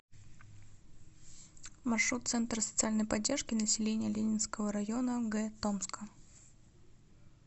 маршрут центр социальной поддержки населения ленинского района г томска